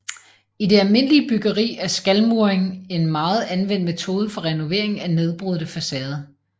I det almindelige byggeri er skalmuring en meget anvendt metode for renovering af nedbrudte facader